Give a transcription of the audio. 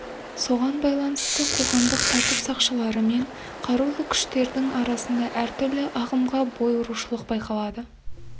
соған байланысты қоғамдық тәртіп сақшылары мен қарулы күштердің арасында әртүрлі ағымға бой ұрушылық байқалады